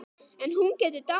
En hún getur dáið